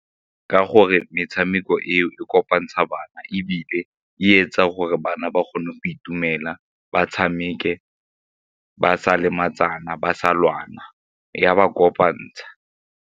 Ka gore metshameko eo e kopantsha bana ebile e etsa gore bana ba kgone go itumela ba tshameke, ba sa lematsana, ba sa lwana e ka ba kopantsha.